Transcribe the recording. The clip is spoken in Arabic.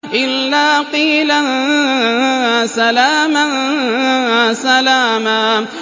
إِلَّا قِيلًا سَلَامًا سَلَامًا